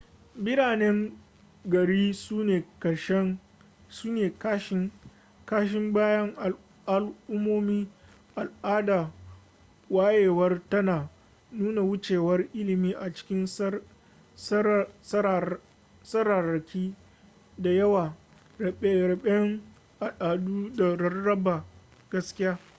biranen gari sune kashin bayan al'ummomi al'adar wayewar tana nuna wucewar ilimi a cikin tsararraki da yawa rabe-raben al'adu da rarraba gaskiya